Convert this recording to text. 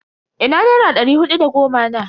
Ina nera ɗari hudu da goma na?